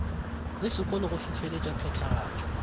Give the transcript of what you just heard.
la sekolo go hlohleletša phethagatšo